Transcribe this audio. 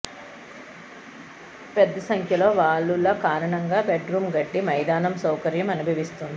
పెద్ద సంఖ్యలో వాలుల కారణంగా బెడ్ రూమ్ గడ్డి మైదానం సౌకర్యం అనుభవిస్తుంది